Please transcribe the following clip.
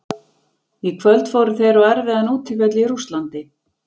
Í kvöld fóru þeir á erfiðan útivöll í Rússlandi.